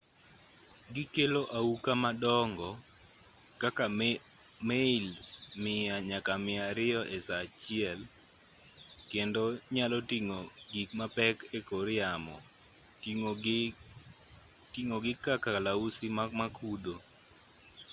gikelo auka madongo kaka mails 100 nyaka 200 esaa achiel kendo nyalo ting'o gik mapek ekor yamo ting'o gii ka kalausi makudho